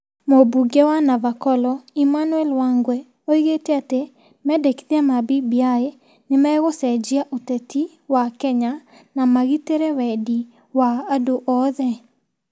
Mũmbunge wa Navakholo, Emmanuel Wangwe, oigĩte atĩ mendekithia ma BBI nĩ magũcenjia ũteti wa Kenya na magitĩre wendi ma andũ othe.